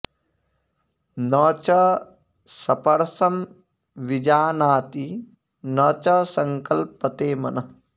न च सपर्शं विजानाति न च संकल्पते मनः